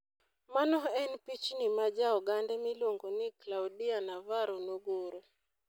Mano en pichni ma ja Ogande miluongo ni Claudia Navarro nogoro.